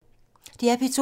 DR P2